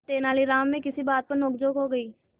तेनालीराम में किसी बात पर नोकझोंक हो गई